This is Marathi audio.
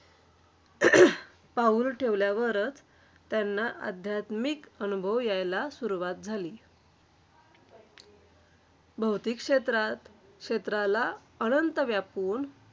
जसा कोरोना चिन मधून महाराष्ट्रात आला तसा आमच्या लहानश्या मुंबई सारख्या शहरात कोरोना हा रोग उद्भवला.